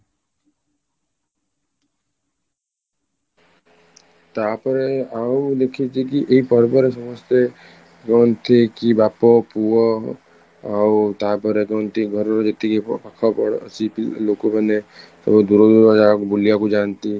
ତାପରେ ଆଉ ଦେଖିଛି କି ଏଇ ପର୍ବରେ ସମସ୍ତେ କୁହନ୍ତି କି ବାପ ପୁଅ ଆଉ ତାପରେ କୁହନ୍ତି ଘରର ଯେତିକି ପାଖ ଘର ଲୋକମାନେ ସବୁ ଦୂର ଦୂର ଜାଗା ବୁଲିବାକୁ ଯାଆନ୍ତି